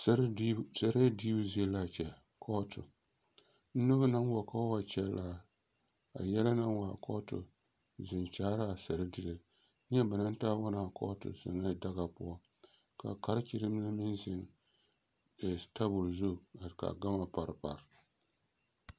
Sɛrɛɛ diibu sɛrɛɛ diibu zie la a kyɛ kɔɔto noba naŋ wa ka ba wa kyɛlle a yɛlɛ naŋ wa a kɔɔto zeŋ kyaare la a sɛredire neɛ ba naŋ taa wa ne a kɔɔto zeŋ la daga poɔ ka karekyere mine meŋ zeŋ e tabol zu ka gama pare pare.